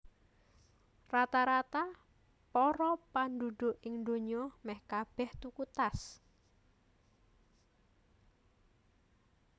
Rata rata para pandhudhuk ing donya mèh kabèh tuku tas